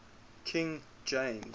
king james